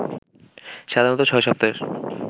সাধারণত ৬ সপ্তাহের